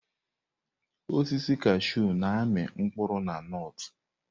Osisi kashụ na-amị mkpụrụ na nọt.